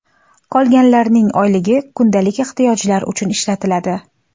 Qolganlarning oyligi kundalik ehtiyojlar uchun ishlatiladi.